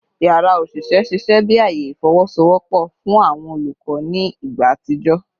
Yara oṣiṣẹ ṣiṣẹ bi aaye ifowosowopo fun awọn olukọ ni igba atijọ